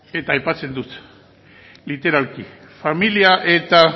eta aipatzen dut literalki familia eta